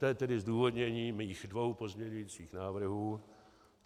To je tedy zdůvodnění mých dvou pozměňujících návrhů.